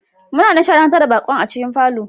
Muna nishadantar da baƙo a cikin falon